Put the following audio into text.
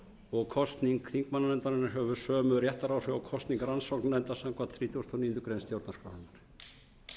og kosning þingmannanefndarinnar hefur sömu réttaráhrif og kosningar rannsóknarnefndar samkvæmt þrítugustu og níundu grein